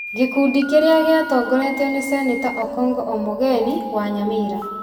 Gĩkundi kĩrĩa gĩatongoretio nĩ seneta Okong'o Omogeni wa Nyamira,